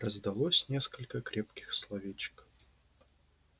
раздалось несколько крепких словечек